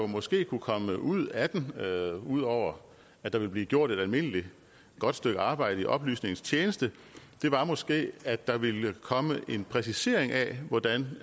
måske kunne komme ud af den ud over at der vil blive gjort et almindeligt godt stykke arbejde i oplysningens tjeneste måske var at der ville komme en præcisering af hvordan